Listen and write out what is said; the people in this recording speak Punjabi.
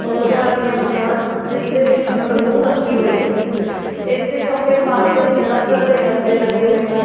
ਟੋਕਰੀਆਂ ਰੱਖੀਆਂ ਹੋਇਆਂ ਹਨ ਜਿਸ ਦੇ ਵਿੱਚ ਰੂੰ ਰੱਖੀ ਹੋਈ ਹੈ ਇਸ ਦੇ ਖੱਬੇ ਪਾਸੇ ਲੱਕੜ ਦੇ ਡੱਬੇ ਰੱਖੇ ਹੋਏ ਹਨ ਇਸ ਦੇ --